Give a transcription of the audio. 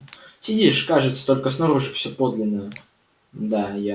сидишь кажется только снаружи все подлинное да я